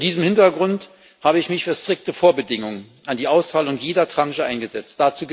Vor diesem Hintergrund habe ich mich für strikte Vorbedingungen an die Auszahlung jeder Tranche eingesetzt.